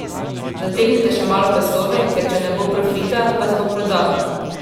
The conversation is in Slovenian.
Zategnite še malo pasove, ker če ne bo profita, vas bo prodal!